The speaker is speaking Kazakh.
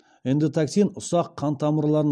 эндотоксин ұсақ қан тамырларын